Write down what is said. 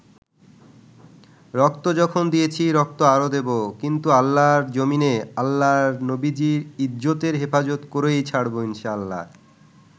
রক্ত যখন দিয়েছি, রক্ত আরো দেবো, কিন্তু আল্লাহর জমিনে আল্লাহর নবীর ইজ্জতের হেফাজত করেই ছাড়বো ইনশাল্লাহ।